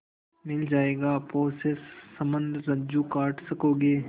मिल जाएगा पोत से संबद्ध रज्जु काट सकोगे